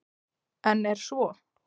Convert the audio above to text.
En er svo?